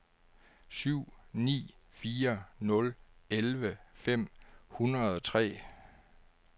syv ni fire nul elleve fem hundrede og tre